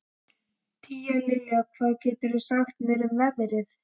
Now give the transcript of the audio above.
Tíalilja, hvað geturðu sagt mér um veðrið?